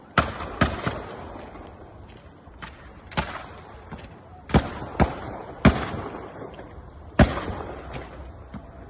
Bir sıra atış səsləri eşidilir.